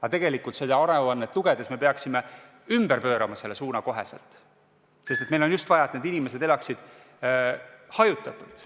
Aga tegelikult seda aruannet lugedes me näeme, et me peaksime selle suuna kohe ümber pöörama, sest meil on just vaja, et need inimesed elaksid hajutatult.